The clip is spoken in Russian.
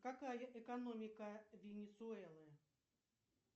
какая экономика венесуэлы